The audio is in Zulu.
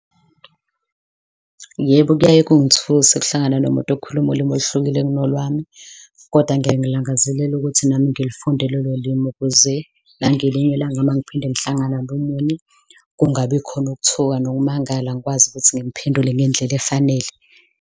Yebo, kuyaye kuyangithuse ukuhlangana nomuntu okhuluma ulimi oluhlukile kunolwami, kodwa ngiyaye ngilangazelele ukuthi nami ngilifunde lolo limi ukuze nangelinye ilanga mangiphinde ngihlangana nomunye, kungabikhona ukuthuka nokumangala, ngikwazi ukuthi ngimphendule ngendlela efanele.